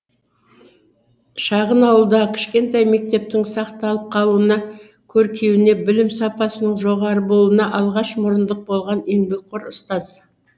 шағын ауылдағы кішкентай мектептің сақталып қалуына көркеюіне білім сапасының жоғары болуына алғаш мұрындық болған еңбекқор ұстаз